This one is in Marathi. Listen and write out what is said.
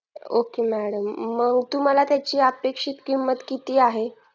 okay madam मग तुम्हाला त्याची अपेक्षित किंमत किती आहे